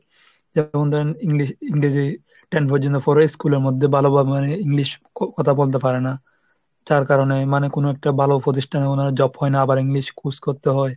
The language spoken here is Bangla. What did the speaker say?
যেমন ধরেন English , ইংরেজি, ten পর্যন্ত পড়ে school এর মধ্যে ভালোভাবে মানে English ক ⁓ কথা বলতে পারে না যার কারণে মানে কোন একটা ভালো প্রতিষ্ঠানে ওনার job হয় না আবার English খুশ করতে হয়